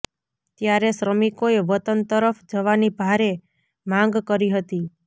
ત્યારે શ્રમિકોએ વતન તરફ જવાની ભારે માંગ કરી હતી